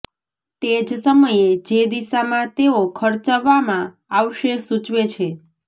તે જ સમયે જે દિશામાં તેઓ ખર્ચવામાં આવશે સૂચવે છે